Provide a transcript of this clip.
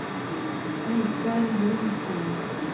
Michael Jonsson